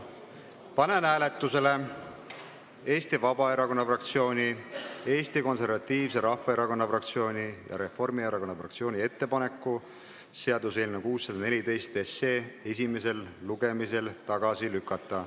Panen hääletusele Eesti Vabaerakonna fraktsiooni, Eesti Konservatiivse Rahvaerakonna fraktsiooni ja Eesti Reformierakonna fraktsiooni ettepaneku seaduseelnõu 614 esimesel lugemisel tagasi lükata.